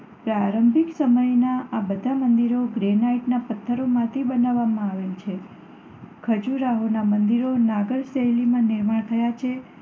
પ્રારંભિક સમયનાં આ બધાં મંદિરો ગ્રેનાઈટના પથ્થરમાંથી બનાવવામાં આવેલ છે. ખજૂરાહોનાં મંદિરો નાગર શૈલીમાં નિર્માણ થયાં છે.